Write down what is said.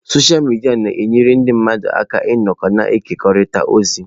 Sọsha midia na-enyere ndị mmadụ aka ịnọkọ na ịkekọrịta ozi.